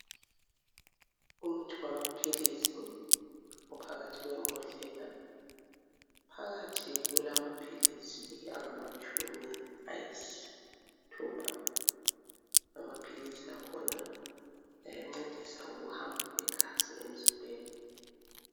Umuthi wamaphilisi uphakathi kwembhodlela. Phakathi kulama philisi angamatshumi ayisithupha. Amaphilisi akhona ayancedisa ukuhamba kwegazi emzimbeni.